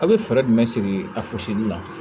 A' bɛ fɛɛrɛ jumɛn sigi a fosiw la